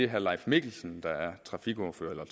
herre leif mikkelsen der er trafikordfører eller